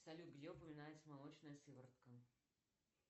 салют где упоминается молочная сыворотка